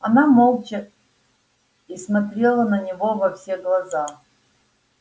она молча и смотрела на него во все глаза